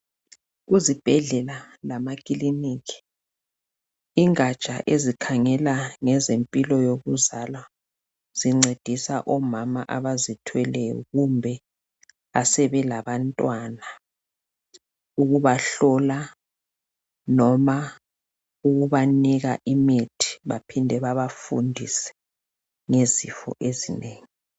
Kuzibhedlela lamakiliniki igatsha esikhangela ngezempilo yokuzalwa zincedisa omama abazithweleyo kumbe asebelabantwana ukubahlola noma ukubanika imithi baphinde babafundise ngezifo ezinengi.